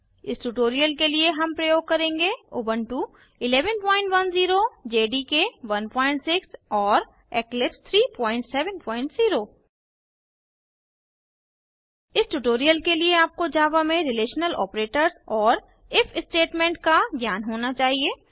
इस ट्यूटोरियल के लिए हम प्रयोग करेंगे उबुंटू 1110 जेडीके 16 और इक्लिप्स 370 इस ट्यूटोरियल के लिए आपको जावा में रिलेशनल ऑपरेटर्स और इफ स्टेटमेंट का ज्ञान होना चाहिए